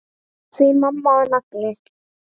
Því mamma var nagli.